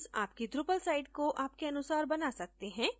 themes आपकी drupal site को आपके अनुसार बना सकते हैं जैसे आप चाहते हैं